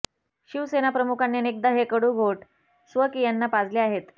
शिवसेनाप्रमुखांनी अनेकदा हे कडू घोट स्वकीयांना पाजले आहेत